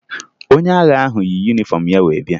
Onye agha ahụ yi yunifọmụ ya wee bịa